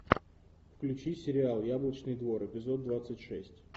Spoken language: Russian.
включи сериал яблочный двор эпизод двадцать шесть